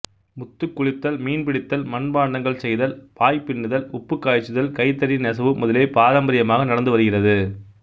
முத்துக்குளித்தல் மீன்பிடித்தல் மட்பாண்டங்கள் செய்தல் பாய்பின்னுதல் உப்புக்காய்ச்சுதல் கைத்தறி நெசவு முதலியவை பாரம்பரியமாக நடந்து வருகிறது